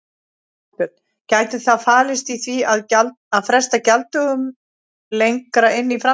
Þorbjörn: Gæti það falist í því að fresta gjalddögunum lengra inn í framtíðina?